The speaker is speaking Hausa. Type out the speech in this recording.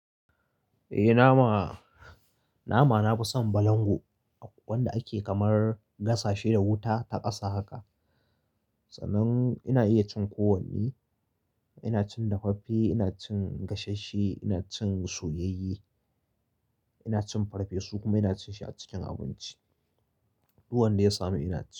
Eh nama, nama nafi son balangu wanda ake kamar gasashi da wuta ta ƙasa haka. Sannan ina iya cin kowanne, ina cin dafaffe, ina cin gasasshe, ina cin soyayye, ina cin farfesu kuma ina cin shi a cikin abinci. Duk wanda ya samu ina ci.